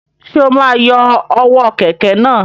Ṣe o ma yọ ọwọ kẹkẹ náà?